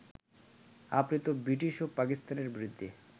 আপনিতো British ও পাকিস্তানের বিরুদ্ধে